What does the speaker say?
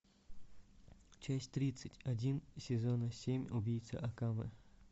часть тридцать один сезона семь убийца акаме